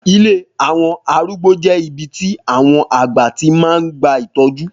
Ilé àwọn arúgbó jẹ́ ibi tí àwọn àgbà tí máa ń gba ìtọ́jú.